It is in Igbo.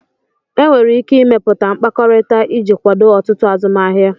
Enwere ike ịmepụta mkpakọrịta iji kwado ọtụtụ azụmahịa